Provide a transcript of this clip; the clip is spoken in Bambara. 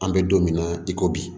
An bɛ don min na i ko bi